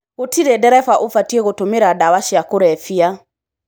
Gũtirĩ ndereba ũbatiĩ gutumira dawa cia kũrebia.